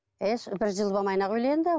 бір жыл болмай ақ үйленді